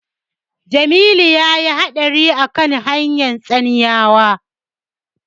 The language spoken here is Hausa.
Jamilu ya yi haɗari a kan hanyar Tsanyawa.